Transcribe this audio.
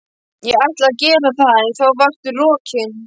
Ég ætlaði að gera það en þá varstu rokin!